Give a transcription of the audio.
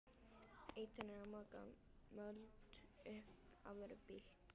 Ýtan er að moka mold upp á vörubíl.